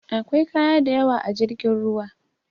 Akwai kaya dayawa a jirgin ruwan